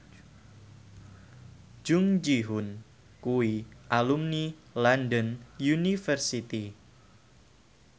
Jung Ji Hoon kuwi alumni London University